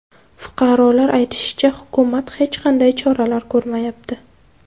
Fuqarolar aytishicha, hukumat hech qanday choralar ko‘rmayapti.